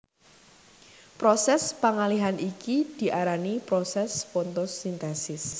Prosès pangalihan iki diarani prosès fotosintesis